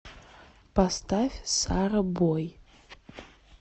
поставь сарабой